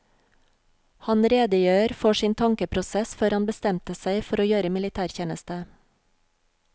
Han redegjør for sin tankeprosess før han bestemte seg for å gjøre militærtjeneste.